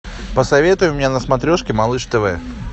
посоветуй мне на смотрежке малыш тв